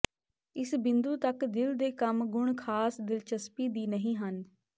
ਇਸ ਬਿੰਦੂ ਤੱਕ ਦਿਲ ਦੇ ਕੰਮ ਗੁਣ ਖਾਸ ਦਿਲਚਸਪੀ ਦੀ ਨਹੀ ਹਨ